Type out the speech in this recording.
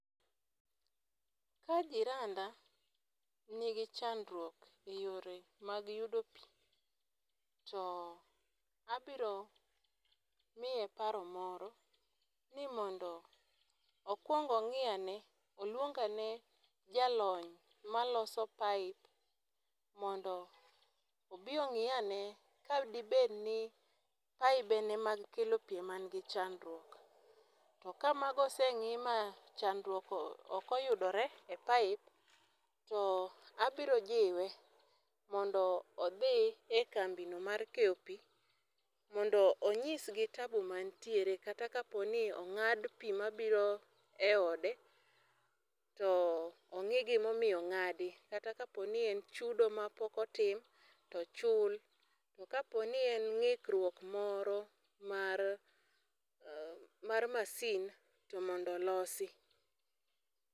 Ka jiranda nigi chadruok e yore mag yudo pi, to abiro miye paro moro ni mondo okwong ong'i ane, olwong ane jalony maloso pipe mondo obi ong'i ane ka dibed ni paibene mag kelo pi ema nigi chandruok, to ka mago oseng'i ma chadruok ok oyudore e pipe, to abiro jiwe mondo odhi e kambino mar keyo pi mondo onyisgi tabu mantiere kata kapo ni ong'ad pi mabiro e ode, to ong'e gimomiyo ong'adi kata kapo ni en chudo mapok otim, to ochul . To kapo ni en ng'ikruok moro mar masin to mondo olosi.